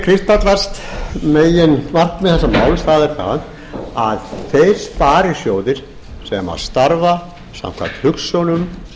kristallast meginmarkmið þessa máls það er það að þeir sparisjóðir sem starfa samkvæmt hugsjónum